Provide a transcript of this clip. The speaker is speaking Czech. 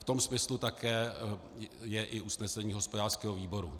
V tom smyslu je také i usnesení hospodářského výboru.